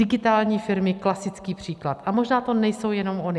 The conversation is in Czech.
Digitální firmy, klasický příklad, a možná to nejsou jenom ony.